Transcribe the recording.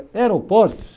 Aeroportos.